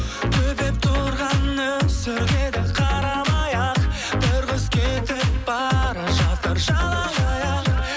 төпеп тұрған нөсерлерге қарамай ақ бір қыз кетіп бара жатыр жалаңаяқ